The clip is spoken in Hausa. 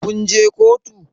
Kun je kotu?